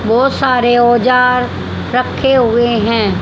बहोत सारे औजार रखे हुए हैं।